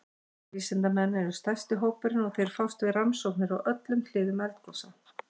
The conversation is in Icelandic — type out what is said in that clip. Jarðvísindamenn eru stærsti hópurinn og þeir fást við rannsóknir á öllum hliðum eldgosa.